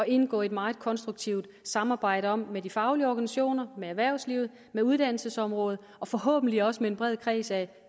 indgå i et meget konstruktivt samarbejde om med de faglige organisationer med erhvervslivet med uddannelsesområdet og forhåbentlig også med en bred kreds af